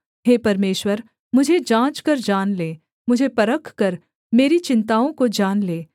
हे परमेश्वर मुझे जाँचकर जान ले मुझे परखकर मेरी चिन्ताओं को जान ले